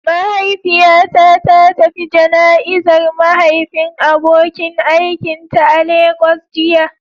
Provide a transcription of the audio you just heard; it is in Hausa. Mahaifiyata ta tafi jana'izar mahaifin abokin aikinta a Lagos jiya.